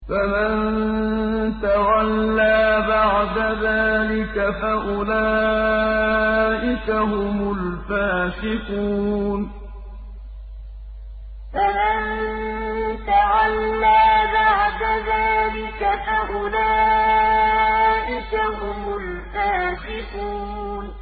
فَمَن تَوَلَّىٰ بَعْدَ ذَٰلِكَ فَأُولَٰئِكَ هُمُ الْفَاسِقُونَ فَمَن تَوَلَّىٰ بَعْدَ ذَٰلِكَ فَأُولَٰئِكَ هُمُ الْفَاسِقُونَ